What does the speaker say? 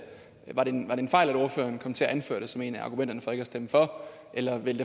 var det en fejl at ordføreren kom til at anføre det som et af argumenterne for ikke at stemme for eller vil